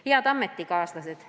Head ametikaaslased!